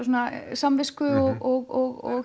samvisku og